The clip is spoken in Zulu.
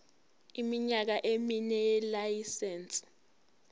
iminyaka emine yelayisense